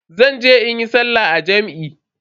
Zan je in yi sallah a jam'i.